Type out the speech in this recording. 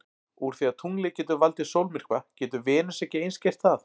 Úr því að tunglið getur valdið sólmyrkva getur Venus ekki eins gert það?